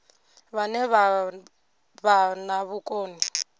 vhane vha vha na vhukoni